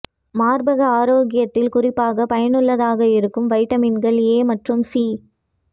மார்பக ஆரோக்கியத்தில் குறிப்பாக பயனுள்ளதாக இருக்கும் வைட்டமின்கள் ஏ மற்றும் சி